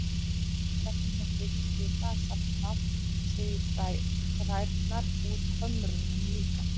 Ekki síst þar sem hún þykist vita að safnað sé í þrærnar úr kömrunum líka.